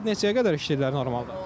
Saat neçəyə qədər işləyirlər normalda?